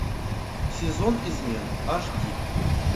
сезон измен аш ди